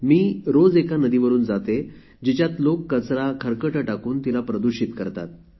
मी रोज त्या नदीवरुन जाते जिथे बहुतेक लोक मोठ्या प्रमाणात कचरा टाकून नदीला दुषित करतात